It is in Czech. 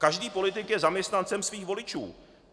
Každý politik je zaměstnancem svých voličů.